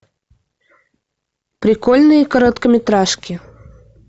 прикольные короткометражки